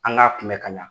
An k'a kunbɛ ka ɲɛ